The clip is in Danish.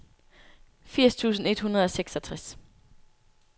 firs tusind et hundrede og seksogtres